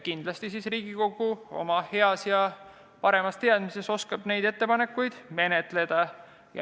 Kindlasti oskab siis Riigikogu oma heas ja paremas teadmises neid ettepanekuid menetleda.